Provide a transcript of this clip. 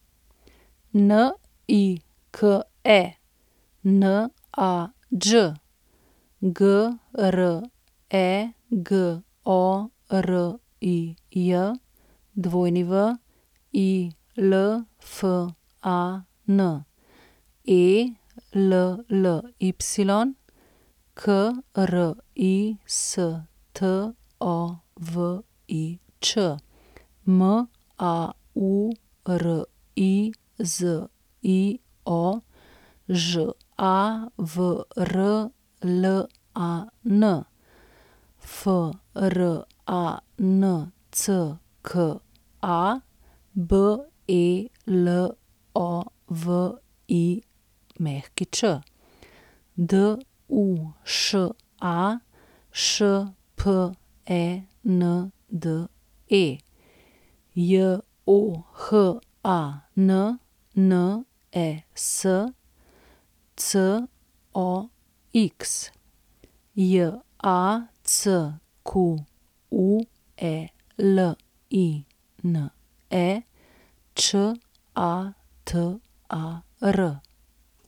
Nike Nađ, Gregorij Wilfan, Elly Kristovič, Maurizio Žavrlan, Francka Belović, Duša Špende, Johannes Cox, Jacqueline Čatar.